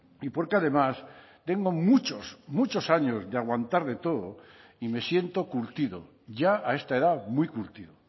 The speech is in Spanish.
y porque además tengo muchos muchos años de aguantar de todo y me siento curtido ya a esta edad muy curtido